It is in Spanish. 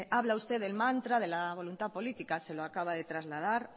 habla usted del mantra de la voluntad política se lo acaba de trasladar